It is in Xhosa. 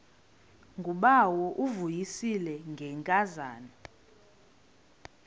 ngubawo uvuyisile ngenkazana